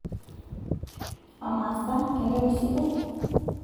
amaa sa kentoki sidai?